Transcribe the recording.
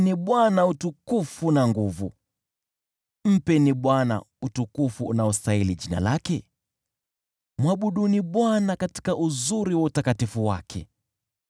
Mpeni Bwana utukufu unaostahili jina lake; mwabuduni Bwana katika uzuri wa utakatifu wake.